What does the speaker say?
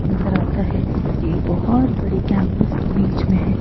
नजर आता है ये बहुत बड़े कैंपस के बीच में है।